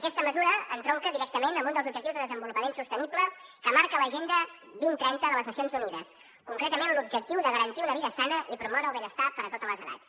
aquesta mesura entronca directament amb un dels objectius de desenvolupament sostenible que marca l’agenda dos mil trenta de les nacions unides concretament l’objectiu de garantir una vida sana i promoure el benestar per a totes les edats